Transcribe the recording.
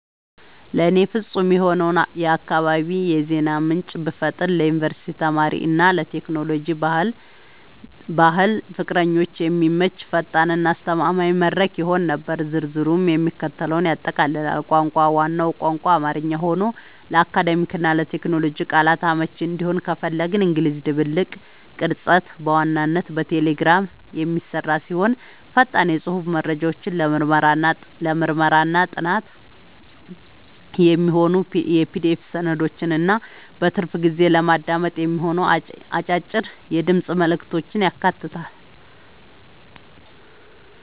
ለእኔ ፍጹም የሆነውን የአካባቢ የዜና ምንጭ ብፈጥር ለዩኒቨርሲቲ ተማሪዎች እና ለቴክኖሎጂ/ባህል ፍቅረኞች የሚመች፣ ፈጣን እና አስተማማኝ መድረክ ይሆን ነበር። ዝርዝሩም የሚከተለውን ያጠቃልላል - ቋንቋ፦ ዋናው ቋንቋ አማርኛ ሆኖ፣ ለአካዳሚክ እና ለቴክኖሎጂ ቃላቶች አመቺ እንዲሆን ከፊል እንግሊዝኛ ድብልቅ። ቅርጸት፦ በዋናነት በቴሌግራም የሚሰራ ሲሆን፣ ፈጣን የጽሑፍ መረጃዎችን፣ ለምርምርና ጥናት የሚሆኑ የPDF ሰነዶችን እና በትርፍ ጊዜ ለማዳመጥ የሚሆኑ አጫጭር የድምፅ መልዕክቶችን ያካትታል።